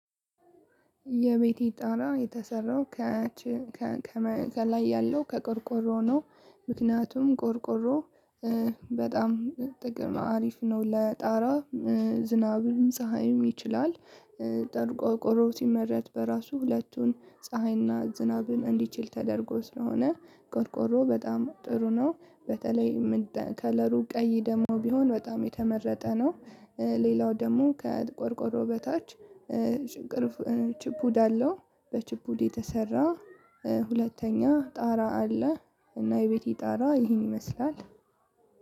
የቤቴ ጣራ የተሰራው ከላይ ያለው ከቆርቆሮ ነው። ምክንያቱም ቆርቆሮ በጣም ጥቅም አሪፍ ነው ለጣራ ዝናብም ፀሀይም ይችላል። ጠሩ ቆርቆሮ ሲመረት በራሱ ሁለቱን ፀሀይና ዝናብም እንዲችል ተደርጎ ስለሆነ ቆርቆሮ በጣም ጥሩ ነው። በተለይ ከለሩ ቀይ ደግሞ ቢሆን በጣም የተመረጠ ነው። ሌላው ደግሞ ከቆርቆሮ በታች ችፑድ አለው በችፑድ የተሰራ ሁለተኛ ጣራ አለ። እና የቤቴ ጣራ ይሄን ይመስላል።